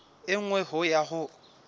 e nngwe ho ya ho